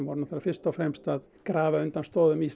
er náttúrulega fyrst og fremst að grafa undan stoðum